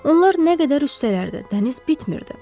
Onlar nə qədər üstsələr də, dəniz bitmirdi.